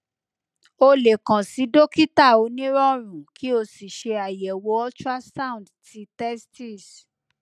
o le kan si dokita onirọrùn ki o si ṣe ayẹwo ultrasound ti testis